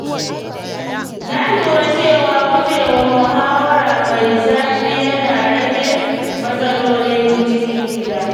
Na lura cewa gujewa muhawara mai zafi yana rage matsalolin cikin gida.